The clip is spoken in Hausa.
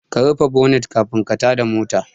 Ka rufe bonat kafin ka tada mota